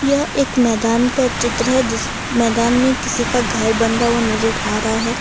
यह एक मैदान का चित्र है जिस मैदान में किसी का घर बनदा हुआ नजर आ रहा हैं।